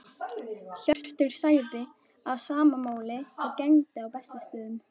Hjörtur sagði að sama máli gegndi á Bessastöðum.